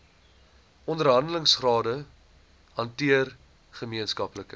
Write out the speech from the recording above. onderhandelingsrade hanteer gemeenskaplike